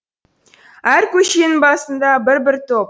әр көшенің басында бір бір топ